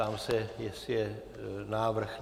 Ptám se, jestli je návrh.